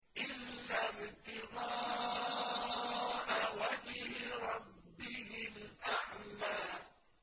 إِلَّا ابْتِغَاءَ وَجْهِ رَبِّهِ الْأَعْلَىٰ